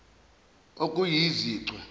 okuyizichwe